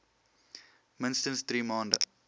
minstens drie maande